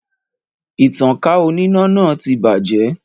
Ìtankà oníná náà ti bàjẹ́